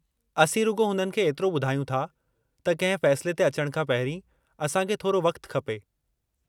असीं रुॻो हुननि खे एतिरो ॿुधायूं था त कंहिं फ़ैसिले ते अचणु खां पहिरीं असां खे थोरो वक़्तु खपे।